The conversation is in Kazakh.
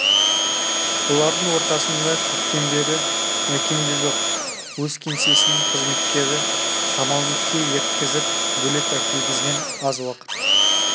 бұлардың ортасында көптен бері мәкен де жоқ өз кеңсесінің қызметкері самалбекке ерткізіп бөлек әкелгізген аз уақыт